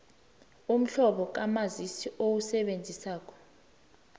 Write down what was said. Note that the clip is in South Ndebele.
umhlobo kamazisi owusebenzisako